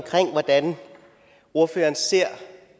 hvordan ordføreren ser